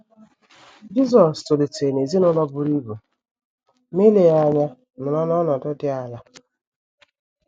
Jisọs tolitere n’ezinụlọ buru ibu, ma eleghị anya nọrọ n’ọnọdụ dị ala